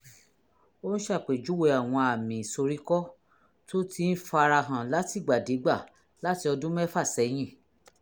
ò ń ṣàpèjúwe àwọn àmì ìsoríkọ́ tó ti ń fara hàn látìgbàdégbà láti ọdún mẹ́fà sẹ́yìn